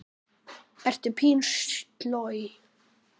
Ertu pínu sloj?